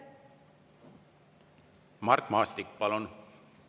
Mart Maastik, palun!